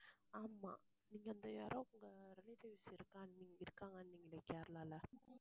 ஆமா நீங்க அந்த யாரோ உங்க relative ல இருக்கான்னீங்~ இருக்காங்கன்னீங்களே கேரளால